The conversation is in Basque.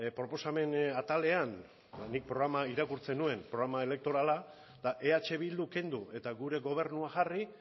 proposamen atalean ba nik programa irakurtzen nuen programa elektorala eta eh bildu kendu eta gure gobernua jarri